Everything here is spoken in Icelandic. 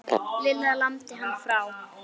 Lilla lamdi hann frá.